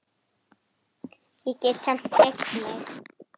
Símtali lokið.